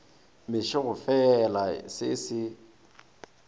mešo e gofela se se